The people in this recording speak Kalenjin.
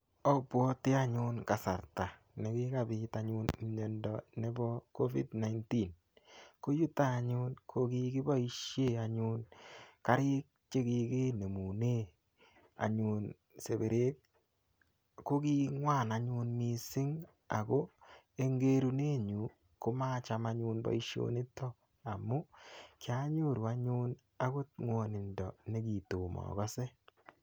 Opwoti anyun kasarta nekikapit anyun miyondo nebo COVID-19 ko yuto anyun ko kikiboishe anyun karik chekikinemune anyun seperek ko king'wan anyun mising' ako eng' kerunenyu komacham anyun boishonito amu kianyoru anyun akot ng'wonindo nekitomo akose